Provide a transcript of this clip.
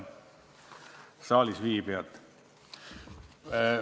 Head saalis viibijad!